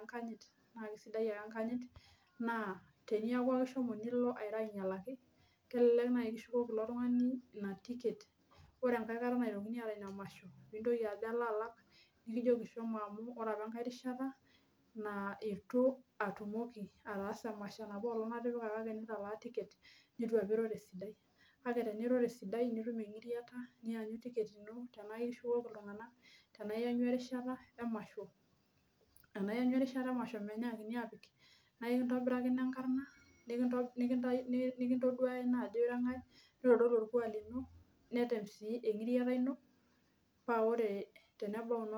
enkanyit amu aisaidia ake enkanyit naa teneeku ake ishomo alo airo anyialaki, kelelek naai kishukoki ilo tungani ina tiket ore naaji enkae kata naitokini aata ina masho pijo aloalak, nikijoki shomo amu ore apa enkae rishata naa itua tumoki atasa emasho enapoolonk atipika kake nitalaa tiket nitu apa iro tesidai, kake teniro tesidai nitum enkiriata nianyu tiket ino tenaiyanyu erishata emasho menyiakini apik mikintobiraki enkarna nikintoduaya ina ajo irankae, nitodolu olkuak lino, netemuni enkiriata ino paa ore tenebau inoolong nikipik emasho.